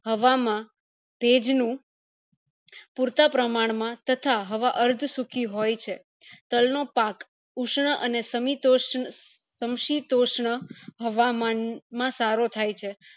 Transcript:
હવા માં ભેજ નું પૂરતા પ્રમાણ માં તથા હવા અર્થ સુકી હોય છે તલ નો પાક ઉષ્ણ અને શામીતોશ સમશીતોષ્ણ હવામાન માં સારો થાય છે